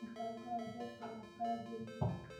Mũbango wa Mbeca wa Kambuni: